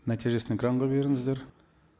нәтижесін экранға беріңіздер